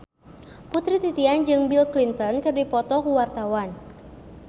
Putri Titian jeung Bill Clinton keur dipoto ku wartawan